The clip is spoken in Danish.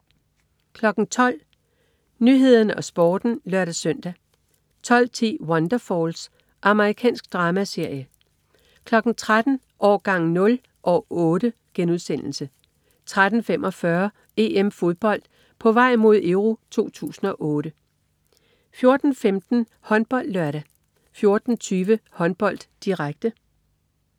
12.00 Nyhederne og Sporten (lør-søn) 12.10 Wonderfalls. Amerikansk dramaserie 13.00 Årgang 0 - år 8* 13.45 EM-Fodbold: På vej mod EURO 2008 14.15 HåndboldLørdag 14.20 Håndbold, direkte